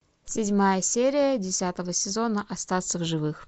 седьмая серия десятого сезона остаться в живых